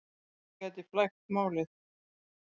Þetta getur flækt málið.